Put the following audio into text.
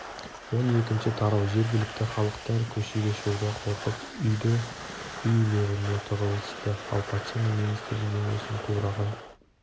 он екінші тарау жергілікті халықтар көшеге шығуға қорқып үйді-үйлеріне тығылысты ал патша мен министрдің денесі қураған